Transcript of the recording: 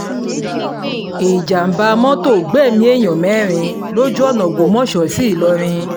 ìjàḿbà mọ́tò gbẹ̀mí èèyàn mẹ́rin lójú ọ̀nà ògbómọṣọ sí ìlọrin